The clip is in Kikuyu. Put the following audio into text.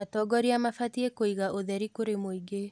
Atongoria mabatiĩ kwĩiga ũtheri kũrĩ mũingĩ.